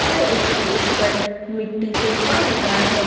और इसके ऊपर मिट्टी फेंका हुआ है।